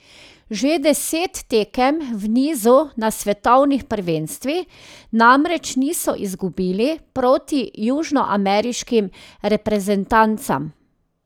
Že deset tekem v nizu na svetovnih prvenstvih namreč niso izgubili proti južnoameriškim reprezentancam.